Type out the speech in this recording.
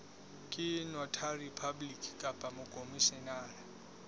ke notary public kapa mokhomishenara